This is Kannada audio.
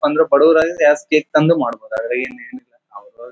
ಪ್ಪಾ ಬಡವರು ಆದ್ರೆ ಜಾಸ್ತಿ ಕೇಕ್ ತಂದು ಮಾಡಬಹುದು ಆದ್ರೆ ಏನ್ ಏನಿಲ್ಲ .]